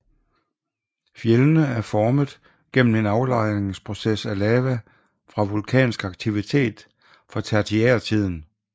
Fjeldene er formet gennem en aflejringsproces af lava fra vulkansk aktivitet fra tertiærtiden